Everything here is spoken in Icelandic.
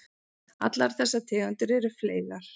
Allar þessar tegundir eru fleygar.